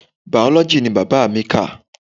Biology ni bàbá mi kà.